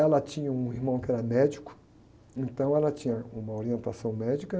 Ela tinha um irmão que era médico, então ela tinha uma orientação médica.